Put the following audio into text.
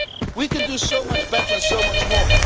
We can do so much better and so much more.